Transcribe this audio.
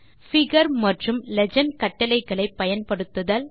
figure legend கட்டளையை பயன்படுத்துதல்